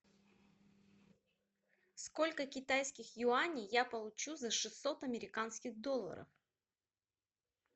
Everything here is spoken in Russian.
сколько китайских юаней я получу за шестьсот американских долларов